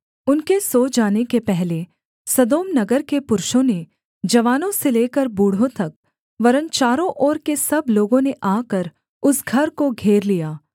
उनके सो जाने के पहले सदोम नगर के पुरुषों ने जवानों से लेकर बूढ़ों तक वरन् चारों ओर के सब लोगों ने आकर उस घर को घेर लिया